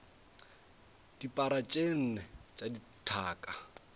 dipara tše nne tša dithaka